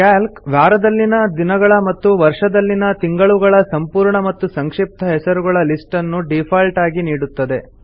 Calc ವಾರದಲ್ಲಿನ ದಿನಗಳ ಮತ್ತು ವರ್ಷದಲ್ಲಿನ ತಿಂಗಳುಗಳ ಸಂಪೂರ್ಣ ಮತ್ತು ಸಂಕ್ಷಿಪ್ತ ಹೆಸರುಗಳ ಲಿಸ್ಟ್ ಅನ್ನು ಡೀಫಾಲ್ಟ್ ಆಗಿ ನೀಡುತ್ತದೆ